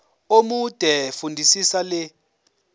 omude fundisisa le